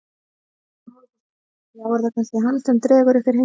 Hugrún Halldórsdóttir: Já er það kannski hann sem dregur ykkur hingað?